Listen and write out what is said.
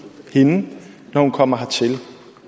hende når hun kommer hertil